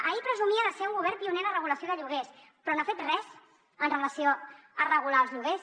ahir presumia de ser un govern pioner en la regulació de lloguers però no ha fet res amb relació a regular els lloguers